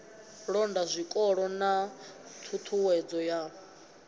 londa zwikolo na ṱhuṱhuwedzo ya